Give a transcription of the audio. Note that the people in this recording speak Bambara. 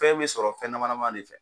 Fɛn bɛ sɔrɔ fɛn dama dama ne fɛ.